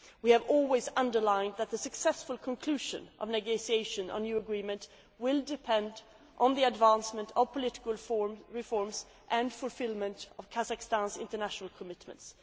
We have always emphasised that the successful conclusion of negotiations on a new agreement will depend on the advancement of political reforms and fulfilment of Kazakhstan's international commitments.